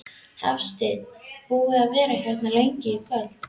Hafsteinn: Búinn að vera hérna lengi í kvöld?